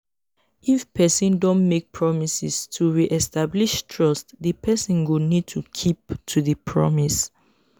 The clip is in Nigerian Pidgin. if person don make promises to re-establish trust di person go need to keep to di promise